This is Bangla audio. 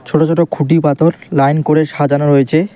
ছোট ছোট খুঁটি পাথর লাইন করে সাজানো রয়েচে।